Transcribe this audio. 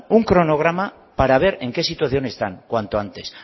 un cronograma para ver en qué situación están cuanto antes